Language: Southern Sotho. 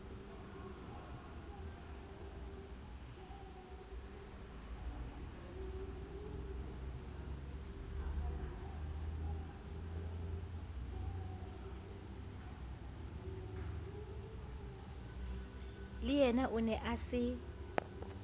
leyena o ne a se